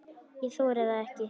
Ég þori það ekki.